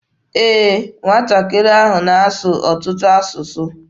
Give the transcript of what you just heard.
Ee, nwatakịrị ahụ na-asụ ọtụtụ asụsụ.